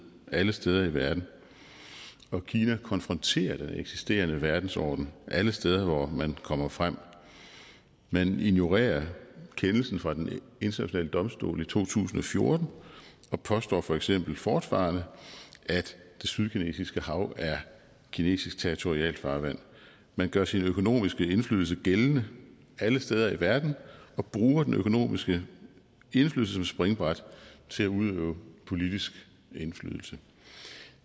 alle steder i verden og kina konfronterer den eksisterende verdensorden alle steder hvor man kommer frem man ignorerer kendelsen fra den internationale domstol i to tusind og fjorten og påstår for eksempel fortfarende at det sydkinesiske hav er kinesisk territorialfarvand man gør sin økonomiske indflydelse gældende alle steder i verden og bruger den økonomiske indflydelse som springbræt til at udøve politisk indflydelse